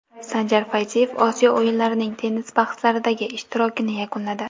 Sanjar Fayziyev Osiyo o‘yinlarining tennis bahslaridagi ishtirokini yakunladi.